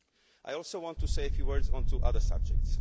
I also want to say a few words on two other subjects.